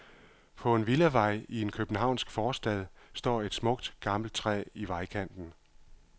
På en villavej i en københavnsk forstad står et smukt, gammelt træ i vejkanten.